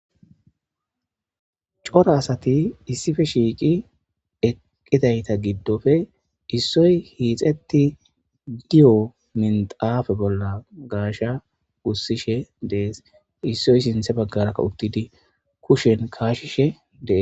Cora asati issippe shiiqi eqidayta gidoppe issoy hiixeti diyo minxafe bolla gaashiya gusishe de'es isoy sinthe baggara uttidi kushen kaashishe de'es.